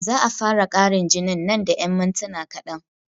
Za'a fara ƙarin jinin man da yan mintuna kaɗan